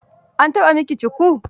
An taɓa yi miki shuku?